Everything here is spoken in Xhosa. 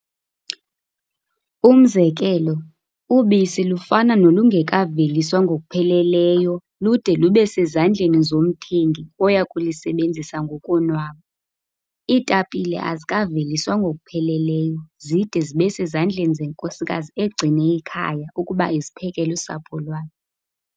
Umzekelo, ubisi lufana nolungekaveliswa ngokupheleleyo lude lube sezandleni zomthengi oya kulisebenzisa ngokonwaba. Iitapile azikaveliswa ngokupheleleyo zide zibe sezandleni zenkosikazi egcine ikhaya ukuba iziphekele usapho lwayo.